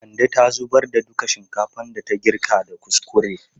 Kande ta zubar da duka shinkafan da ta girka da kuskure.